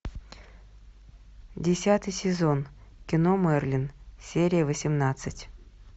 десятый сезон кино мерлин серия восемнадцать